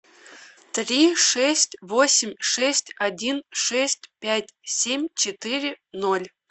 три шесть восемь шесть один шесть пять семь четыре ноль